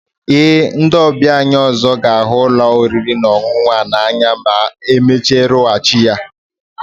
Ee, ndị ọbịa anyị ọzọ ga-ahụ ụlọ oriri na ọṅụṅụ a n'anya ma emezigharịchaa ya